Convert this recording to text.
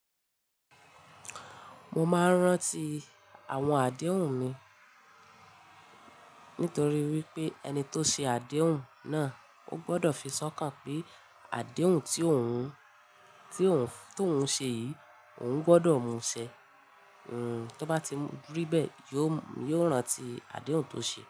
Mo máa ń rántí àwọn àdéhùn mi nítorí wípé ẹni tó ṣe àdéhùn náà ó gbọdọ̀ fi sọ̀kàn pé àdéhùn tí òun, tí òun, tó ń ṣe yìí òun gbọdọ̀ mú ṣẹ. Hmm, tí ó bá ti ribẹ yóò, yóò rántí àdéhùn tó ṣe.